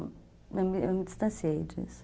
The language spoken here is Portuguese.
Eu me me distanciei disso.